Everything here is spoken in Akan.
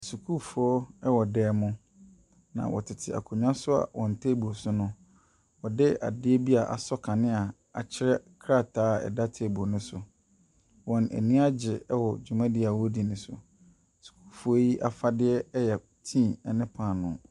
Nsukuufoɔ wɔ dan mu. Na wɔtete akonnwa so a wɔn tanble so no, wɔde adeɛ bi a asɔ kanea a akyerɛ krataa ɛda table no so. Wɔn ani agye wɔ dwumadie a wɔredi no so. Asukuufoɔ yi afade yɛ tea ne paanoo.